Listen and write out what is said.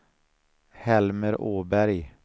Helmer Åberg